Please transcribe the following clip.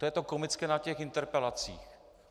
To je to komické na těch interpelacích.